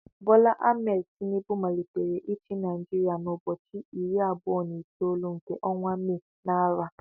Bola Ahmed Tinubu malitere ichi Naijiria na ụbọchị irí abụọ na itolu nke ọnwa May, na arọ a.